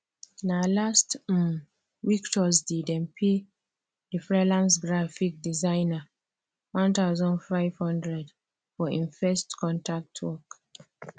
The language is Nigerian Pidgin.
na last um week thursday dem pay the freelance graphic designer one thousand five hundred for hin first contact work